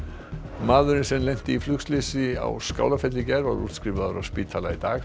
maðurinn sem lenti í flugslysi á Skálafelli í gær var útskrifaður af spítala í dag hann